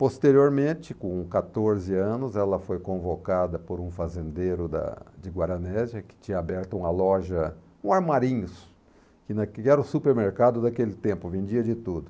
Posteriormente, com quatorze anos, ela foi convocada por um fazendeiro da de Guaranésia, que tinha aberto uma loja, um armarinhos, que era o supermercado daquele tempo, vendia de tudo.